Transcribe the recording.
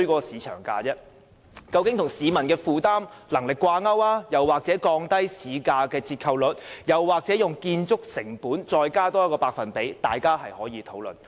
售價應與市民的負擔能力掛鈎，或是降低市價的折扣率，又或是在建築成本之上加上一個百分比，大家可以討論。